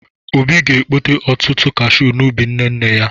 Obi ga-ekpote ọtụtụ kashiu n'ubi nne nne ya.